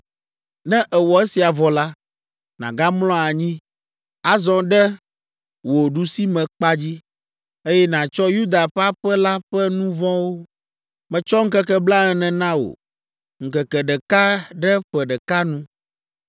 “Ne èwɔ esia vɔ la, nàgamlɔ anyi, azɔ ɖe wò ɖusimekpa dzi, eye nàtsɔ Yuda ƒe aƒe la ƒe nu vɔ̃wo. Metsɔ ŋkeke blaene na wò, ŋkeke ɖeka ɖe ƒe ɖeka nu.